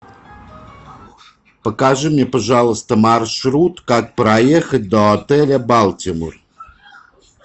покажи мне пожалуйста маршрут как проехать до отеля балтимор